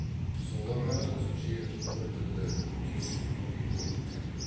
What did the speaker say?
солар ғана өзінше біртүрлі түйсінгендей болды білем